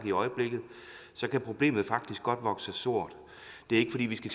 i øjeblikket kan problemet faktisk godt vokse sig stort det er ikke fordi vi skal